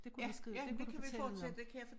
Det kunne vi skrive det kunne du fortælle om